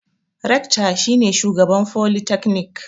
Rekta shi ne shugaban folitaknik.